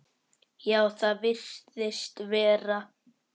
Já, það virðist vera.